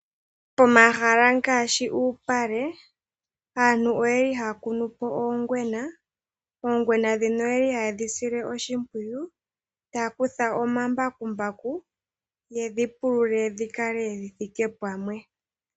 Pomahala ngaashi uupale aantu oyeli haya kunu po oongwena. Oongwena ndhino oyeli haye dhi sile oshimpwiyu taya kutha omambakumbaku yedhi pulule dhi kale thike pamwe.